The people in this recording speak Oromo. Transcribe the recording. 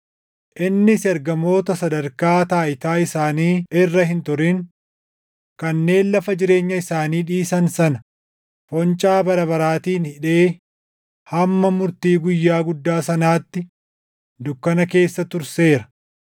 Innis ergamoota sadarkaa taayitaa isaanii irra hin turin, kanneen lafa jireenya isaanii dhiisan sana foncaa bara baraatiin hidhee hamma murtii Guyyaa guddaa sanaatti dukkana keessa turseera.